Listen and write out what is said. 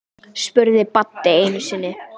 spurði Baddi einu sinni.